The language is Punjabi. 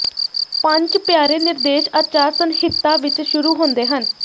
ਪੰਝ ਪਿਆਰੇ ਨਿਰਦੇਸ਼ ਆਚਾਰ ਸੰਹਿਤਾ ਵਿਚ ਸ਼ੁਰੂ ਹੁੰਦੇ ਹਨ